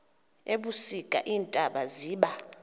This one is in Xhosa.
ebusika iintaba ziba